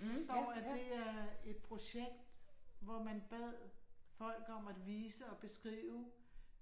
Der står at det er et projekt, hvor man bad folk om at vise og beskrive